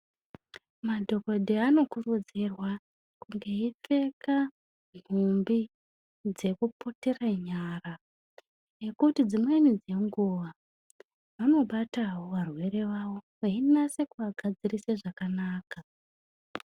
Madhogodheya anokurudzirwa kunge eipfeka nhumbi dzekuputire nyara nekuti dzimweni dzenguva vanobatawo varwere vavo vachinase kuvagadzirisa zvakanaka.